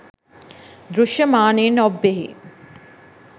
දෘශ්‍යමානයෙන් ඔබ්බෙහි